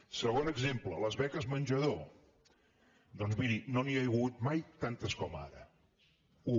segon exemple les beques menjador doncs miri no n’hi ha hagut mai tantes com ara u